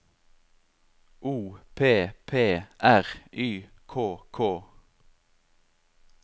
O P P R Y K K